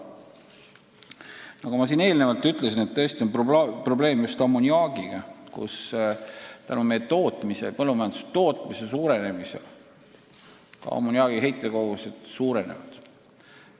Nagu ma eelnevalt ütlesin, tõesti on probleem just ammoniaagiga, sest põllumajandustootmise suurenemise tõttu ka ammoniaagi heitkogused suurenevad.